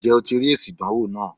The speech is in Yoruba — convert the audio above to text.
Ǹ jé o ti rí èsì ìdánwò náà